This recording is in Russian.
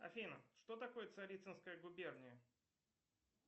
афина что такое царицынская губерния